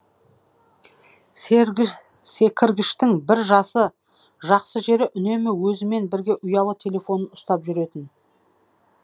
секіргіштің бір жақсы жері үнемі өзімен бірге ұялы телефонын ұстап жүретін